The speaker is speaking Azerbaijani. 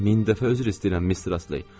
Min dəfə üzr istəyirəm, Mistress Ley.